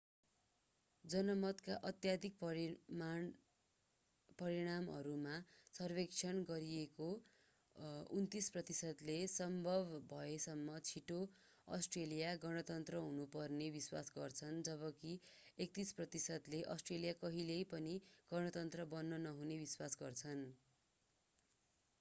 जनमतका अत्यधिक परिणामहरूमा सर्वेक्षण गरिएका 29 प्रतिशतले सम्भव भएसम्म छिटो अस्ट्रेलिया गणतन्त्र हुनुपर्ने विश्वास गर्छन् जबकि 31 प्रतिशतले अस्ट्रेलिया कहिल्यै पनि गणतन्त्र बन्न नहुने विश्वास गर्छन्